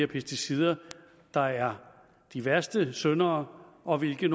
pesticider der er de værste syndere og hvilke